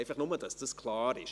Einfach, damit dies klar ist.